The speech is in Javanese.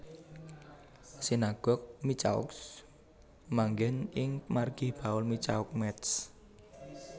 Sinagog Michaux manggén ing margi Paul Michaux Métz